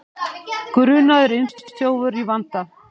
Grunaður innbrotsþjófur í vanda